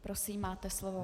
Prosím, máte slovo.